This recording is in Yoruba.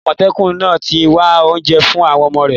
Àmọ̀tẹ́kùn náà ti ń wá oúnjẹ fún àwọn ọmọ rẹ̀.